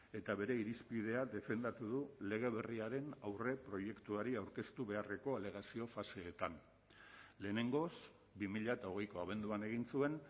eta bere irizpidea defendatu du lege berriaren aurreproiektuari aurkeztu beharreko alegazio faseetan lehenengoz bi mila hogeiko abenduan egin zuen